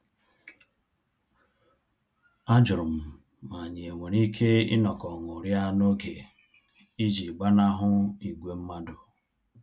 A jụrụ m ma anyị e nwere ike inọkọ ṅụrịa n'oge iji gbanahụ ìgwè mmadụ